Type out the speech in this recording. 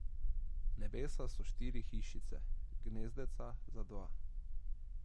Nebesa so štiri hišice, gnezdeca za dva.